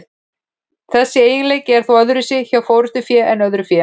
Þessi eiginleiki er þó öðruvísi hjá forystufé en öðru fé.